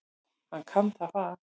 Hann kann það fag.